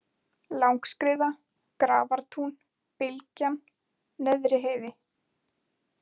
Langaskriða, Grafartún, Bylgjan, Neðriheiði